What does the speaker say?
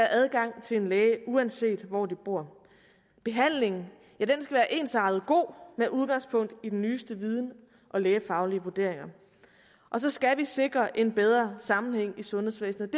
adgang til en læge uanset hvor de bor behandlingen skal være ensartet god med udgangspunkt i den nyeste viden og lægefaglige vurderinger og så skal vi sikre en bedre sammenhæng i sundhedsvæsenet